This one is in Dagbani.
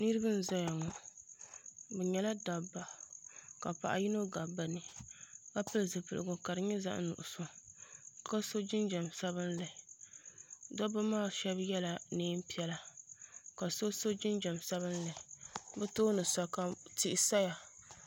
Niriba n zaya ŋɔ bɛ nyɛla dabba ka paɣa yino gabi bɛ ni ka pili zipiligu ka di nyɛ zaɣa nuɣuso ka so jinjiɛm sabinli dobba maa sheba yela niɛn'piɛla ka so so jinjiɛm sabinli bɛ tooni sa ka tia saya.